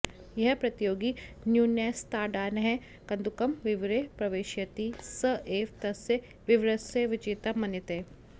यः प्रतियोगी न्यूनैस्ताडानैः कन्दुकं विवरे प्रवेशयति स एव तस्य विवरस्य विजेता मन्यते